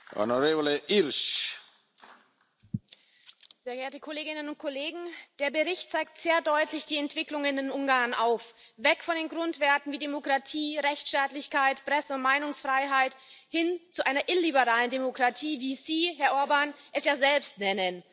Herr Präsident, sehr geehrte Kolleginnen und Kollegen! Der Bericht zeigt sehr deutlich die Entwicklungen in Ungarn auf weg von den Grundwerten wie Demokratie, Rechtsstaatlichkeit, Presse und Meinungsfreiheit hin zu einer illiberalen Demokratie, wie Sie, Herr Orbán, es ja selbst nennen.